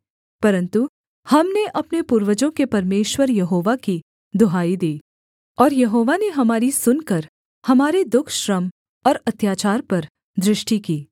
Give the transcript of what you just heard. परन्तु हमने अपने पूर्वजों के परमेश्वर यहोवा की दुहाई दी और यहोवा ने हमारी सुनकर हमारे दुःखश्रम और अत्याचार पर दृष्टि की